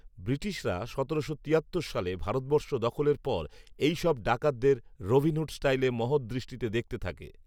ব্রিটিশরা সতেরোশো তিয়াত্তর সালে ভারতবর্ষ দখলের পর এই সব ডাকাতদের রবিনহুড স্টাইলে মহৎ দৃষ্টিতে দেখতে থাকে